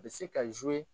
A bɛ se ka